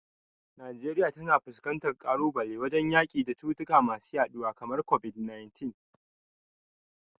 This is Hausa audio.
Najeriya na fuskantar kalubale wajen yaki da cututtuka masu yaduwa kamar COVID-19.